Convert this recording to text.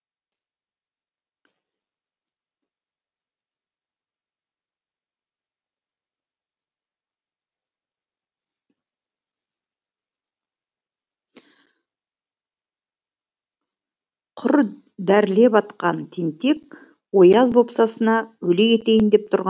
құр дәрілеп атқан тентек ояз бопсасына өле кетейін деп тұрған мен жоқпын